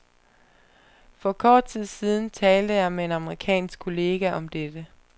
For kort tid siden talte jeg med en amerikansk kollega om dette.